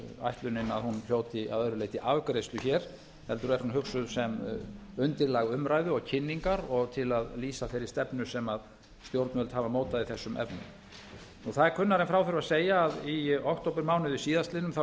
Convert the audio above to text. ætlunin að hún hljóti að öðru leyti afgreiðslu hér heldur er hún hugsuð sem undirlag umræðu og kynningar og til að lýsa þeirri stefnu sem stjórnvöld hafa mótað í þessum efnum það er kunnara en frá þurfi að segja að í októbermánuði síðastliðnum